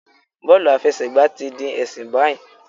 Bọọlu afẹsẹgba ti di ẹsin bayi